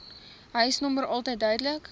huisnommer altyd duidelik